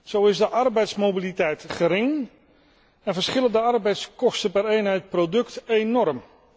Zo is de arbeidsmobiliteit gering en verschillen de arbeidskosten per eenheid product enorm.